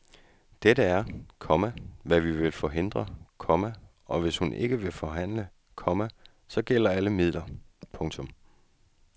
Dette er, komma hvad vi vil forhindre, komma og hvis hun ikke vil forhandle, komma så gælder alle midler. punktum